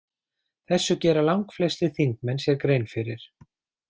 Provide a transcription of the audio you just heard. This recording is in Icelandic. Þessu gera langflestir þingmenn sér grein fyrir.